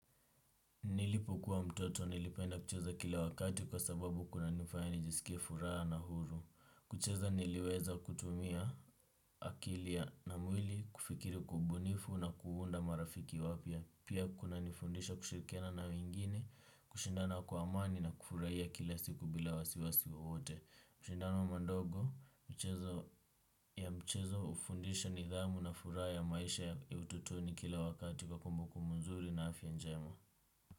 Nilipokuwa mtoto nilipenda kucheza kila wakati kwa sababu kunanifanya nijisikie furaha na huru. Kucheza niliweza kutumia akili na mwili kufikiri kwa ubunifu na kuunda marafiki wapya. Pia kunanifundisha kushirikiana na wengine, kushindana kwa amani na kufurahia kila siku bila wasiwasi wowote. Mashindano madogo ya mchezo hufundisha nidhamu na furaha ya maisha ya utotoni kila wakati kwa kumbukumbu nzuri na afya njema.